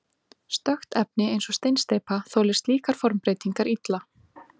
Stökkt efni eins og steinsteypa þolir slíkar formbreytingar illa.